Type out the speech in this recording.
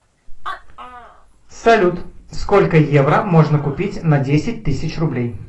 салют сколько евро можно купить на десять тысяч рублей